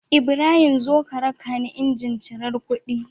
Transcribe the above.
Ibrahim zo ka rakani injin cirar kuɗi